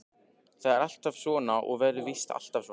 Það er alltaf svona og verður víst alltaf svona.